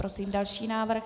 Prosím další návrh.